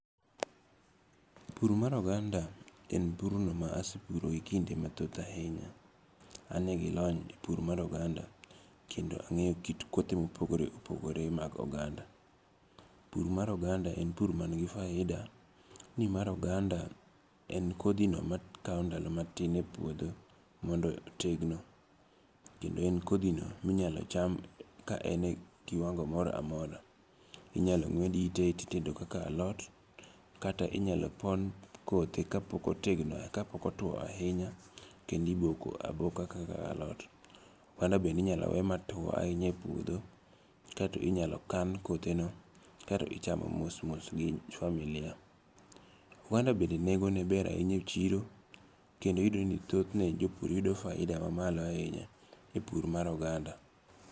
Pur mar oganda en pur no ma asepuro e kinde mathoth ahinya. Ane gi lony e pur mar oganda kendo ang'eyo kit kothe mopogore opogore mag oganda. Pur mar oganda en pur man gi faida ni mar oganda en kodhi no makaw ndalo matin e puodho mondo otegno. Kendo en kodhi no minyalo cham ka en e kiwango moro amora. Inyalo ng'wed ite titedo kaka alot. Kata inyalo pon kothe kapok otwo ahinya kendo iboko aboka kaka alot. Oganda bende inyalo we matuo ahinya e puodho kaeto inyalo kan kotheno kaeto ichamo mos mos gi familia. Oganda bende nengo ne ber ahinya e chiro kendo iyudo ni jopur yudo faida ma malo ahinya e pur mar oganda.